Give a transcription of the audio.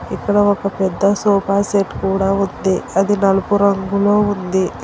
ఇక్కడ ఒక పెద్ద సోఫా సెట్ కూడా ఉంది అది నలుపు రంగులో ఉంది.